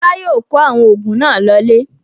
Fọlá yóò kó àwọn oògùn náà lọlé.